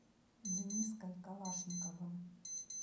дениской калашниковым